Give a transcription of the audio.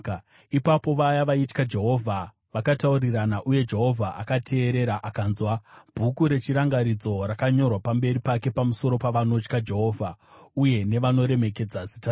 Ipapo vaya vaitya Jehovha vakataurirana, uye Jehovha akateerera akanzwa. Bhuku rechirangaridzo rakanyorwa pamberi pake pamusoro pavanotya Jehovha uye nevanoremekedza zita rake.